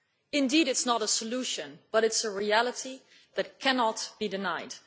It is not a solution, but it is a reality that cannot be denied.